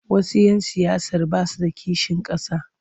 Wasu 'yan siyasar ba su da kishin ƙasa.